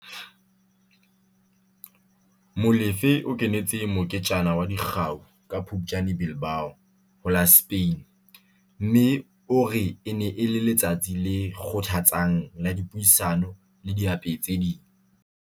Molefe o kenetse moketjana wa dikgau ka Phuptjane Bilbao, ho la Spain, mme o re e ne e le letsatsi le kgothatsang la dipuisano le diapehi tse ding.